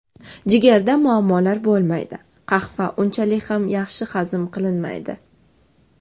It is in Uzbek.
Jigarda muammolar bo‘lmaydi Qahva unchalik ham yaxshi hazm qilinmaydi.